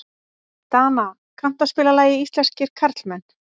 Dana, kanntu að spila lagið „Íslenskir karlmenn“?